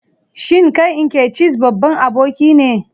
Shin kai Nkechis babban aboki ne?